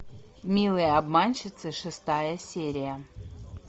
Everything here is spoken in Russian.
милые обманщицы шестая серия